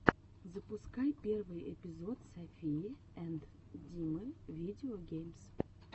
запускай первый эпизод софии энд димы видео геймс